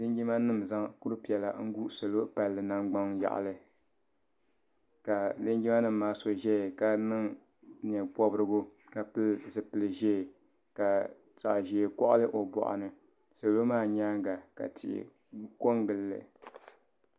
linjima nima n-zaŋ kur' piɛla n-gu salo palli nangbun' yaɣili ka linjimanima maa so zaya ka niŋ nye' pɔbirigu ka pili zupil' ʒee ka zoo.